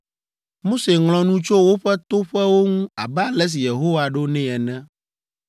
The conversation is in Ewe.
Mose ŋlɔ nu tso woƒe toƒewo ŋu abe ale si Yehowa ɖo nɛ ene.